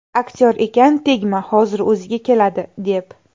Aktyor ekan, tegma, hozir o‘ziga keladi, deb.